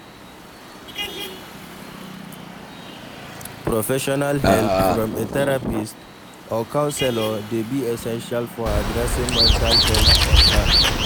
Professional help from a therapist or counselor dey be essential for addressing mental health concerns.